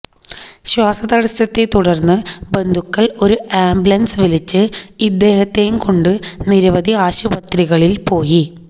ശ്വാസതടസത്തെ തുടർന്ന് ബന്ധുക്കൾ ഒരു അംബുലൻസ് വിളിച്ച് ഇദ്ദേഹത്തെയും കൊണ്ട് നിരവധി ആശുപത്രികളിൽ പോയി